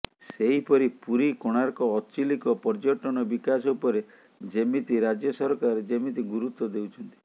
ସେହିପରି ପୁରୀ କୋଣାର୍କ ଅଚିଲିକ ପର୍ଯ୍ୟଟନ ବିକାଶ ଉପରେ ଯେମିତି ରାଜ୍ୟ ସରକାର ଯେମିତି ଗୁରୁତ୍ୱ ଦେଉଛନ୍ତି